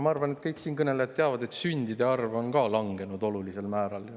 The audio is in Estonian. Ma arvan, et kõik siinkõnelejad teavad, et ka sündide arv on langenud olulisel määral.